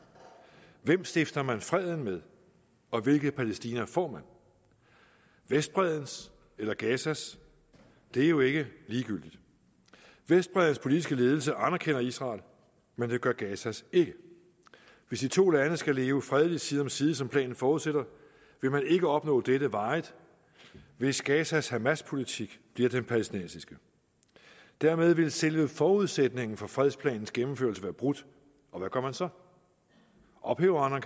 hvem stifter man freden med og hvilket palæstina får man vestbreddens eller gazas det er jo ikke ligegyldigt vestbreddens politiske ledelse anerkender israel men det gør gazas ikke hvis de to lande skal leve fredeligt side om side som planen forudsætter vil man ikke opnå dette varigt hvis gazas hamaspolitik bliver den palæstinensiske dermed ville selve forudsætningen for fredsplanens gennemførelse være brudt og hvad gør man så ophæver man